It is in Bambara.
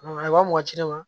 A ye wa mugan ci ne ma